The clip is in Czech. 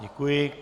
Děkuji.